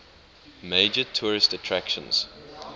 major tourist attractions